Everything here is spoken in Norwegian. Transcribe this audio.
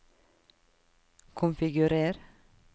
konfigurer